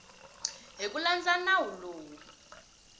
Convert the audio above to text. hi ku landza nawu lowu